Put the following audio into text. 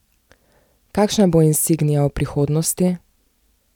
Kakšna bo insignia v prihodnosti?